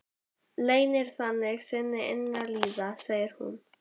Leynir þannig sinni innri líðan, segir hún.